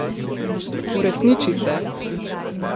Uresniči se!